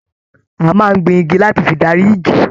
A máa n gbìn igi láti fí darí ìjì.